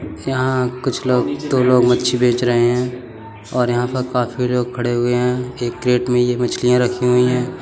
यहाँ कुछ लोग दो लोग मच्छी बेच रहें है और यहाँ पर काफी लोग खड़े हुए हैं एक क्रेट में ये मछलियाँ रखी हुइं हैं।